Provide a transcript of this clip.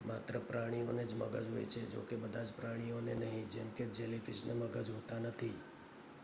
માત્ર પ્રાણીઓને મગજ હોય છે જો કે બધા જ પ્રાણીઓને નહીં; જેમ કે જેલીફીશને મગજ હોતા નથી